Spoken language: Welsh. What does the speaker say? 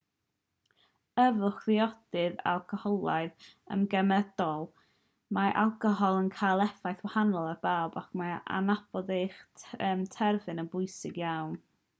yfwch ddiodydd alcoholaidd yn gymedrol mae alcohol yn cael effaith wahanol ar bawb ac mae adnabod eich terfyn yn bwysig iawn